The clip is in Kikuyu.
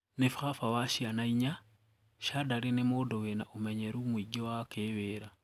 Ni babawa ciana inya, Shadary ni mũndũ wina umenyeru mwingi wa kiwira.